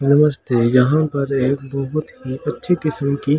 नमस्ते यहाँ पर एक बहुत ही अच्छी किस्म की --